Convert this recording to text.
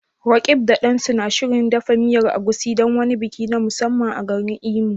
Roqeeb da Dan suna shirin dafa miyar Egusi don wani biki na musamman a garin Imo?